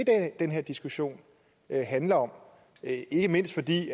den her diskussion handler om ikke mindst fordi